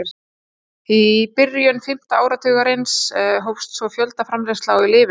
Í byrjun fimmta áratugarins hófst svo fjöldaframleiðsla á lyfinu.